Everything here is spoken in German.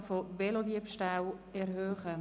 «Aufklärungsrate von Velodiebstählen erhöhen!».